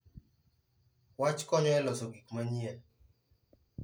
Wach konyo e loso gik manyien.